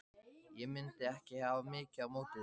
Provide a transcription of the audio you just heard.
Ég mundi ekki hafa mikið á móti því.